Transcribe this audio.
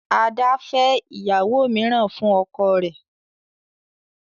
Ada fè ìyàwó míràn fún ọkọ rẹ.